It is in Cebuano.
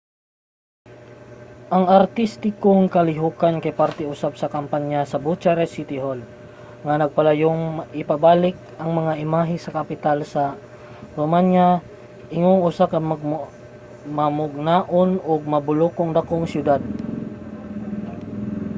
ang artistikong kalihukan kay parte usab sa kampanya sa bucharest city hall nga naglayong ipabalik ang imahe sa kapital sa romania ingong usa ka mamugnaon ug mabulokong dakong siyudad